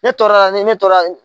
Ne tɔɔrɔla nin ne tɔɔrɔ a.